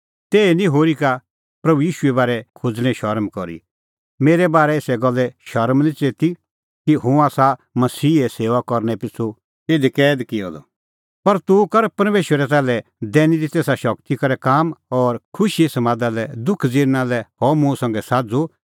तैही निं होरी का प्रभू ईशूए बारै खोज़णें शरम करी मेरै बारै एसा गल्ले शरम बी निं च़ेती कि हुंह आसा मसीहे सेऊआ करनै पिछ़ू इधी कैद किअ द पर तूह कर परमेशरै ताल्है दैनी तेसा शगती करै काम और खुशीए समादा लै दुख ज़िरना लै हअ मुंह संघै साझ़ू